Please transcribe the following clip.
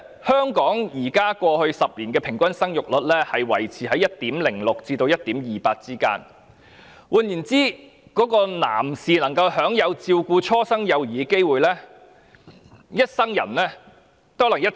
香港在過去10年的平均生育率維持於 1.06% 至 1.28%， 換言之，男士可以享有照顧初生幼兒的機會，其實一生人可能只有約1次。